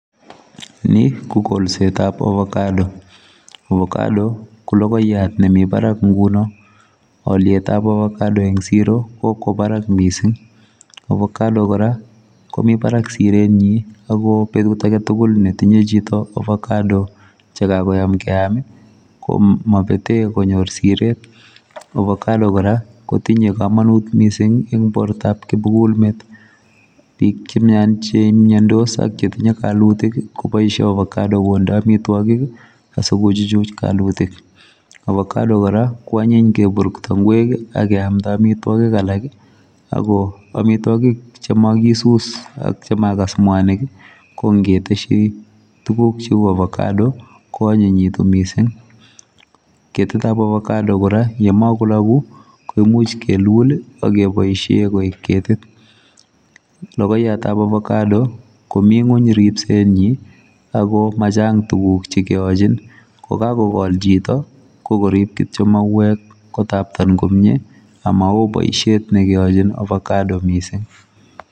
Ni ko kolset ab avacado avacado ko logoiyaat nemii baraak missing aliet ab avacado kokwaa baraak missing avacado kora komii baraak sireet nyiin ago kit age tugul ne tinyei chitoo avacado che kakoyaan keyaam ii ko mabeten konyoor Siret ,ovacado kora kotinyei kamanuut missing ii eng borto ab kimugul met Mii biik che miandos ak chetinyei kalutiik ii kobaisheen avacado kondee amitwagiik ii asiko chuchuun kalutiik , avacado kora ko anyiiny ngeburburto kimpyeet ak ketseyii ngweek alaak ii ago amitwagiik che magisus chemagas mwanig ii ko ngetesyii tuguuk che uu ovacado ii ko anyinnyitii missing , ketit ab ovacado kora ye magolaguu ii koimuuch kiluuul ii akebaisheen koek ketit ,lagoiyaat ab ovacado komii ngweeny ripset nyiin ago machaang tuguuk che keyalchiin ko kagokol chitoo ko koriip kityoi mauweek kotaptateen kityoi komyei ama wooh boisiet ne keyalchiin ovacado missing.